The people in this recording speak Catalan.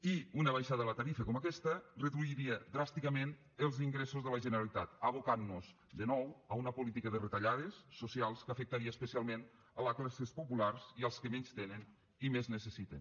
i una baixada de la tarifa com aquesta reduiria dràsticament els ingressos de la generalitat abocant nos de nou a una política de retallades socials que afectaria especialment les classes populars i els que menys tenen i més necessiten